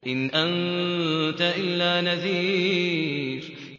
إِنْ أَنتَ إِلَّا نَذِيرٌ